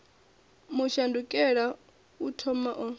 mu shandukela u thomani o